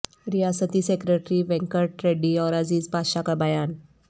ریاستی سکریٹری وینکٹ ریڈی اور عزیز پاشاہ کا بیان